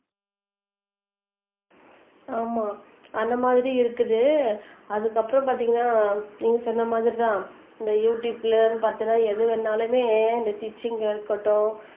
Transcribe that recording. ஆமா அந்த மாதிரி இருக்குது அதுக்கப்புறம் பாத்தீங்கன்னா நீங்க சொன்ன மாதிரிதான் இந்த யுடுயூப்ல பாத்தீங்கன்னா எது வேணாலுமே இந்த டீச்சிங்கா இருக்கட்டும்